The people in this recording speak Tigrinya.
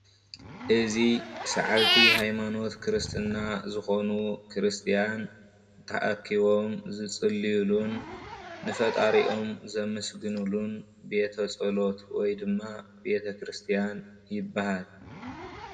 እዚ ሰዓብቲ ሃይማኖት ክርስትና ዝኾኑ ክርስትያን ተኣኪቦም ዝፅልዩሉን ንፈጣሪኦም ዘመስግንሉን ቤተ ፀሎት ወይ ድማ ቤተክርስትያን ይበሃል።